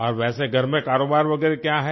और वैसे घर में कारोबार वगैरह क्या है